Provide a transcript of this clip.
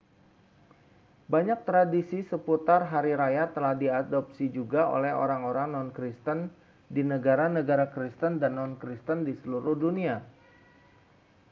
banyak tradisi seputar hari raya telah diadopsi juga oleh orang-orang non-kristen di negara-negara kristen dan non-kristen di seluruh dunia